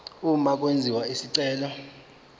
uma kwenziwa isicelo